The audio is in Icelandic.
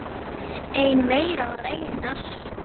Einn þeirra var Einar